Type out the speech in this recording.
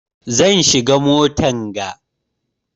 Zan shiga motan ga.